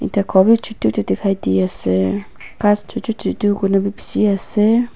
ete ghor bhi chotu chotu dekhai di ase grass chotu chotu koi kenabu bishi ase.